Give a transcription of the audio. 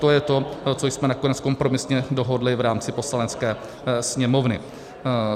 To je to, co jsme nakonec kompromisně dohodli v rámci Poslanecké sněmovny.